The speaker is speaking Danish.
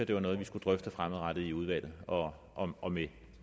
det var noget vi skulle drøfte fremadrettet i udvalget og og med